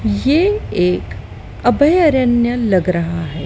ये एक अभयारण्य लग रहा है।